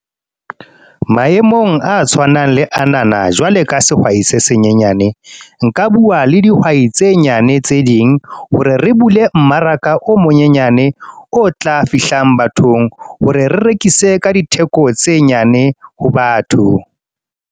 Maemong a tshwanang le anana, jwale ka sehwai se senyenyane. Nka bua le dihwai tse nyane tse ding, hore re bule mmaraka o monyenyane. O tla fihlang bathong, hore re rekise ka ditheko tse nyane, ho batho.